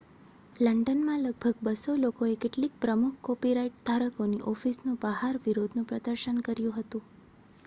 લંડનમાં લગભગ 200 લોકોએ કેટલીક પ્રમુખ કોપીરાઇટ ધારકોની ઑફિસની બહાર વિરોધનું પ્રદર્શન કર્યું હતું